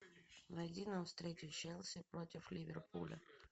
найди нам встречу челси против ливерпуля